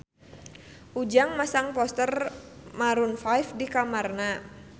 Ujang masang poster Maroon 5 di kamarna